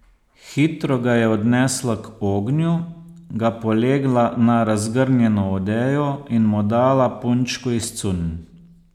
Hitro ga je odnesla k ognju, ga polegla na razgrnjeno odejo in mu dala punčko iz cunj.